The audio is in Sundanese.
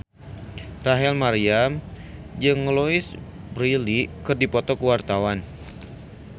Rachel Maryam jeung Louise Brealey keur dipoto ku wartawan